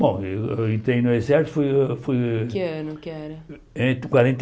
Bom, eu entrei no exército, fui fui... Em que ano, que era? Entre quarenta e